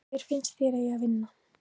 Hver finnst þér að eigi að vinna?